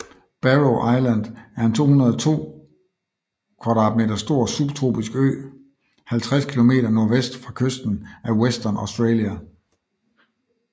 Barrow Island er en 202 km² stor subtropisk ø 50 km nordvest fra kysten af Western Australia